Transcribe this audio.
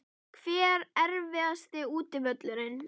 Hver er erfiðasti útivöllurinn?